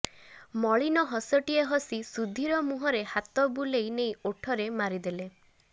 ମଳିନ ହସଟିଏ ହସି ସୁଧୀର ମୁଁହରେ ହାତ ବୁଲେଇ ନେଇ ଓଠରେ ମାରିଦେଲେ